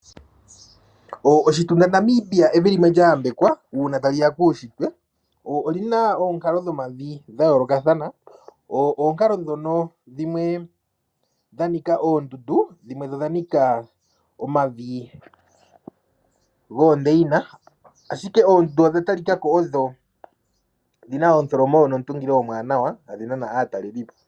Oshitunda Namibia evi limwe lya yambekwa uuna tashiya kuushitwe oli na ookalo dhomavi dha yoolokathana, ookalo dhono dhimwe dha nika oondundu dhimwe dho dha nika omavi goondeyina ashike oondundu odha talika ko odho dhina omutholomo nomutungilo omuwanawa adhi nana aatalelipo.